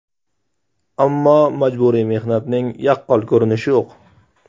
Ammo majburiy mehnatning yaqqol ko‘rinishi yo‘q.